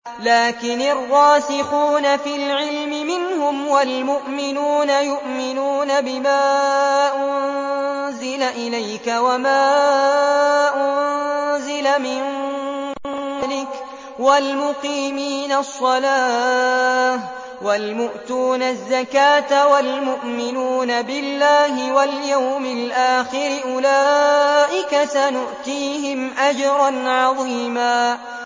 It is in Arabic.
لَّٰكِنِ الرَّاسِخُونَ فِي الْعِلْمِ مِنْهُمْ وَالْمُؤْمِنُونَ يُؤْمِنُونَ بِمَا أُنزِلَ إِلَيْكَ وَمَا أُنزِلَ مِن قَبْلِكَ ۚ وَالْمُقِيمِينَ الصَّلَاةَ ۚ وَالْمُؤْتُونَ الزَّكَاةَ وَالْمُؤْمِنُونَ بِاللَّهِ وَالْيَوْمِ الْآخِرِ أُولَٰئِكَ سَنُؤْتِيهِمْ أَجْرًا عَظِيمًا